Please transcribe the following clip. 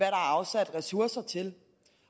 er afsat ressourcer til